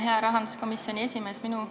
Hea rahanduskomisjoni esimees!